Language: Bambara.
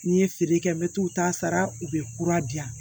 N'i ye feere kɛ n bɛ t'u ta sara u bɛ kura di yan